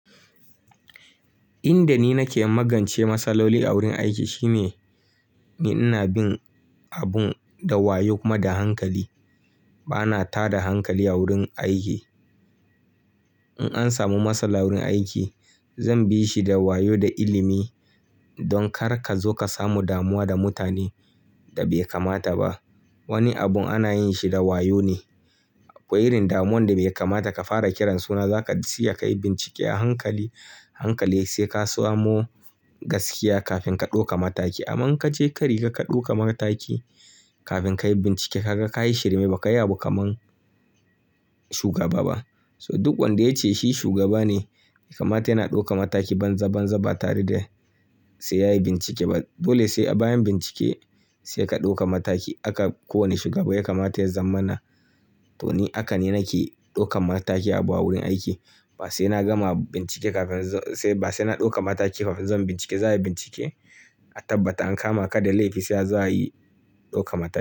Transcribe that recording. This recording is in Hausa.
Inda ni nake magance matsaloli a wurin aiki shine ina bin abun da wayo kuma da hankali. Bana tada hankali a wurin aiki. In an samu matsala wurin aiki zan bi shi da wayo da ilimi don kar ka zo ka samu damuwa da mutanen da bai kamata ba. Wani abun ana yin shi da wayo ne. Ko irin damuwan da bai kamata ka fara kiran su ba za ka tsaya ka yi bincike a hankali, hankali sai ka samo gaskiya kafin ka ɗauka mataki. Aman ka je ka rika ka ɗauka mataki kafin ka yi bincike ka ga ka yi shirme ba kayi abu kaman shugaba ba. So duk wanda ya ce shi shugaba ne ya kamata yana ɗauka mataki banza banza ba tare da sai yayi bincike ba. Dole sai a bayan bincike sai ka ɗauka mataki. Aka kowane shugaba ya kamata ya zamana. Toh ni haka ni nake ɗauka mataki a baya wurin aiki. Ba sai na gama bincike kafin zo sai ba sai na ɗauka mataki kafin zan yi bincike. Za yi bincike a tabbata an kama kada laifi sai za a yi ɗauka mataki.